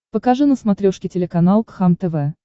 покажи на смотрешке телеканал кхлм тв